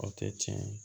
O tɛ tiɲɛ ye